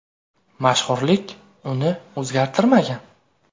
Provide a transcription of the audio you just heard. Mashhurlik uni o‘zgartirmagan.